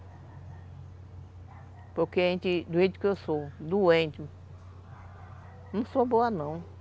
Porque a gente, do jeito que eu sou, doente, não sou boa não.